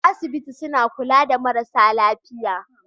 A asibiti suna kulawa da mara lafiya